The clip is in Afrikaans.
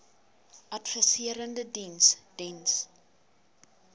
adviserende diens diens